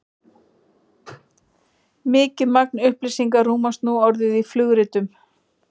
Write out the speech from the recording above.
mikið magn upplýsinga rúmast nú orðið í flugritum